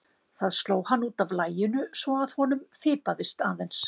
Það sló hann út af laginu svo að honum fipaðist aðeins.